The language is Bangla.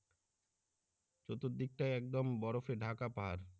চতুর্দিকটায় একদম বরফে ঢাকা পাহাড়